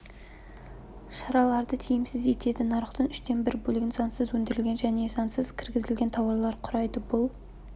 шараларды тиімсіз етеді нарықтың үштен бір бөлігін заңсыз өндірілген және заңсыз кіргізілген тауарлар құрайды бұл